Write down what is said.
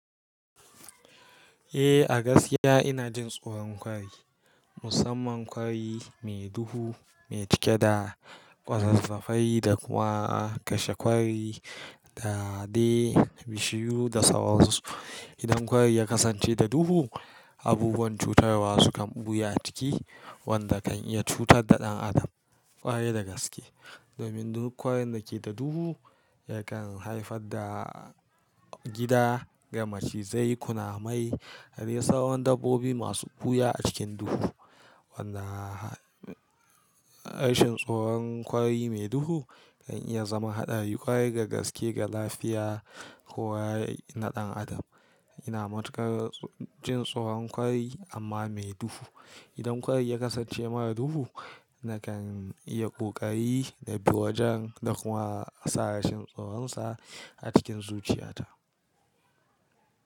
Eh, a gaskiya inajin tsoron kwari. Musamman kwari mai duhu mai cike da ƙwazazzafai da kuma kashe kwari dade bishiyu da sauransu. Idan kwari ya kasance da duhu, abubuwan cutarwa sukan ɓuya a ciki wanda kan iya cutar da ɗan adam ƙwarai da gaske. Domin duk kwarin dake da duhu ya kan haifar da gida ga macizai, kunamai dadai sauran dabbobi masu ɓuya a cikin duhu. Wanda rashin tsoron kwari mai duhu, kan iya zama haɗari ƙwarai ga gaske ga lafiya ko waye na ɗan adam. Ina matukar jin tsoron kwari amma mai duhu. Idan kwari ya kasance mara duhu nakan iya ƙoƙari nabi wajen da kuma sa rashin tsoronsa a cikin zuciyata.